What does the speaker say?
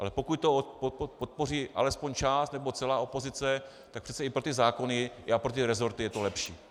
Ale pokud to podpoří alespoň část nebo celá opozice, tak přece i pro ty zákony i pro ty resorty je to lepší.